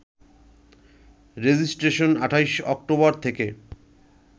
registration ২৮ October থেকে